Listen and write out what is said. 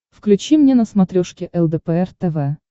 включи мне на смотрешке лдпр тв